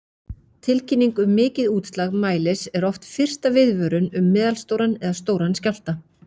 Tilkynning um mikið útslag mælis er oft fyrsta viðvörun um meðalstóran eða stóran skjálfta.